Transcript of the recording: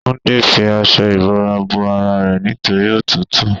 Túndé fi aṣọ ìbora bo ara rẹ nítorí òtútù.